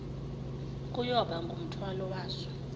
kuyoba ngumthwalo waso